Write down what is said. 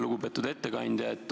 Lugupeetud ettekandja!